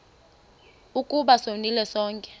ukuba sonile sonke